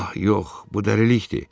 Ah, yox, bu dəlilikdir.